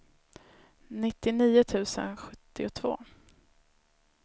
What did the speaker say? nittionio tusen sjuttiotvå